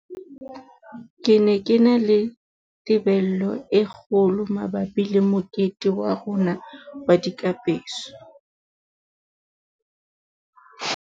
Ke ne ke na le tebello e kgo lo mabapi le mokete wa rona wa dikapeso.